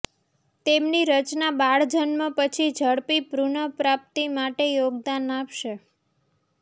તેમની રચના બાળજન્મ પછી ઝડપી પુનઃપ્રાપ્તિ માટે યોગદાન આપશે